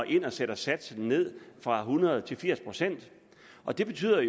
ind og sætter satsen ned fra hundrede til firs pct og det betyder